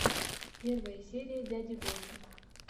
первая серия дяди гоши